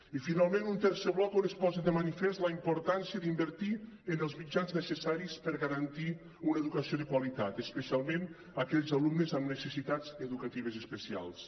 i finalment un tercer bloc on es posa de manifest la importància d’invertir en els mitjans necessaris per garantir una educació de qualitat especialment per a aquells alumnes amb necessitats educatives especials